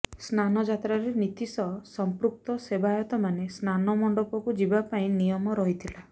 ସ୍ନାନଯାତ୍ରାରେ ନୀତି ସହ ସଂପୃକ୍ତ ସେବାୟତମାନେ ସ୍ନାନ ମଣ୍ଡପକୁ ଯିବା ପାଇଁ ନିୟମ ରହିଥିଲା